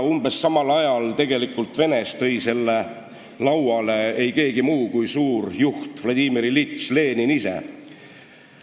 " Umbes samal ajal tõi selle tegelikult Venemaalt lauale ei keegi muu kui suur juht Vladimir Iljitš Lenin ise.